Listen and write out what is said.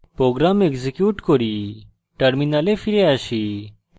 program execute করি terminal ফিরে আসি